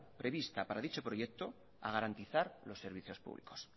prevista para dicho proyecto a garantizar los servicios públicos